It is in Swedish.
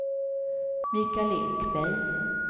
Michael Ekberg